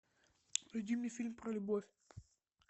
найди мне фильм про любовь